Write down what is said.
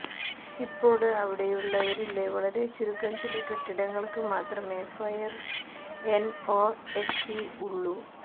ഇപ്പോള് അവിടെയുള്ളവയില് വളരെ ചുരുക്കം ചില കെട്ടിടങ്ങള്ക്ക് മാത്രമെ ഫയര് എന് ഒ എസി ഉള്ളൂ